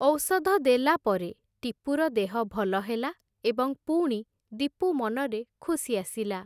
ଔଷଧ ଦେଲା ପରେ, ଟିପୁର ଦେହ ଭଲ ହେଲା, ଏବଂ ପୁଣି ଦୀପୁ ମନରେ ଖୁସି ଆସିଲା ।